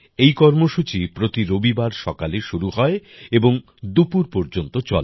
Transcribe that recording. এই কর্মসূচি প্রতি রবিবার সকালে শুরু হয় এবং দুপুর পর্যন্ত চলে